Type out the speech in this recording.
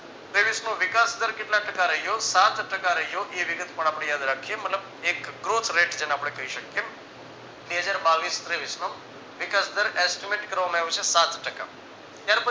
તેવીસનો વિકાસ દર કેટલા ટકા રહ્યો સાત ટકા રહ્યો એ વિગત પણ આપણે યાદ રાખીયે મતલબ એક growth rate જેને આપણે કહી શકીયે. બે હજાર બાવીસ તેવીસ નો વિકાસ દર estimate કરવામાં આવ્યો છે સાત ટકા ત્યાર પછી